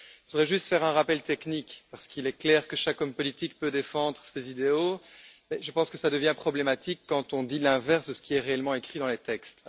Je voudrais juste faire un rappel technique, parce qu'il est clair que chaque homme politique peut défendre ses idéaux, mais je pense que cela devient problématique quand on dit l'inverse de ce qui est réellement écrit dans les textes.